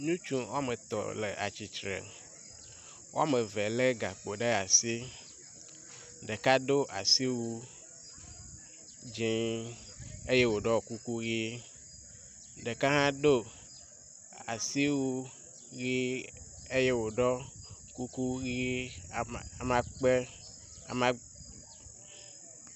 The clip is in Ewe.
Ŋutsu woametɔ̃ le atsitre. Woameve lé gakpo ɖe asi. Ɖeka do asiwu dzĩĩĩ eye wòɖɔ kuku ʋi. Ɖeka hã ɖo asiwu ʋi eye wòɖɔ kuku ʋi amakpe ama